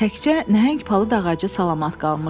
Təkcə nəhəng palıd ağacı salamat qalmışdı.